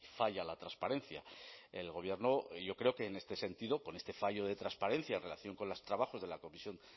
falla la transparencia el gobierno yo creo que en este sentido con este fallo de transparencia en relación con los trabajos de la comisión